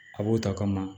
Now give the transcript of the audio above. A b'o ta kama